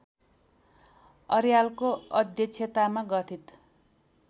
अर्यालको अध्यक्षतामा गठित